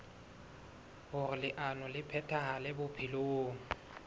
hoer leano le phethahale bophelong